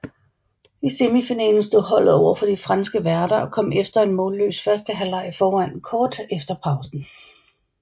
I semifinalen stod holdet over for de franske værter og kom efter en målløs første halvleg foran kort efter pausen